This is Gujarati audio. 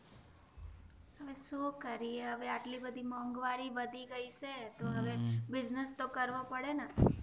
હા શું કરીયે હવે અટલીબધી મોંઘવારી વધી ગય સે તો હવે બૂઝનેશ તો કરવો પડે ને